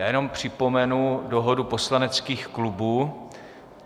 Já jenom připomenu dohodu poslaneckých klubů.